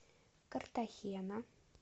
картахена